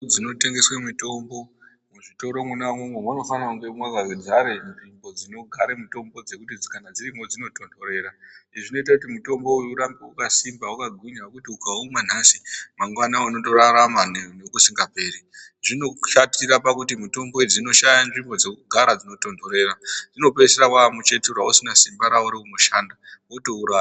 Dzinotengeswe mitombo, muzvitoro mwona imwomwo munofana kunge makadzara nzvimbo dzinogare mitombo dzekuti kana dzirimwo dzinotonhorera izvi zvinoite kuti mitombo uyu ufambe wakasimba, wakagwinya zvekuti ukaumwa nhasi mangwana unotorarama nekusingaperi. Zvinoshatira pakuti mitombo idzi dzinoshaya nzvimbo dzekugara dzinotonhorera. Unopedzisira wamuchetura usisina simba rawo raunoshanda wotourasa.